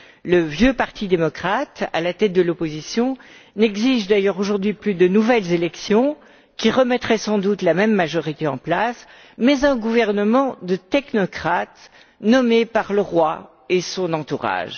Le vieux parti démocrate, à la tête de l'opposition, n'exige d'ailleurs aujourd'hui plus de nouvelles élections qui remettraient sans doute la même majorité en place, mais un gouvernement de technocrates, nommé par le roi et son entourage.